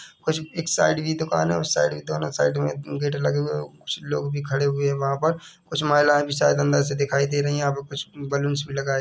कुछ इस साइड भी दुकान है दोनो साइड मे गेट भी लगे हुए है कुच लोग भी खड़े हुए है वहा पर कुछ महिलाएं भी शायद अंदर से दिखाई दे रही है यहा पे कुछ बलून्स भी लगाए-- ।